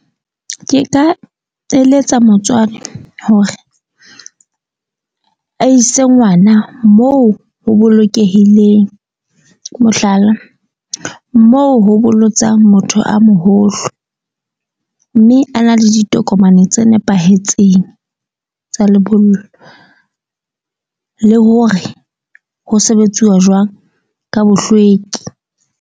Ke ka eletsa motswadi hore a ise ngwana, moo ho bolokehileng. Mohlala, moo ho bolotsang motho a moholo. Mme a na le ditokomane tse nepahetseng tsa lebollo le hore ho sebetsuwa jwang ka bohlweki.